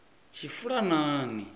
tshifulanani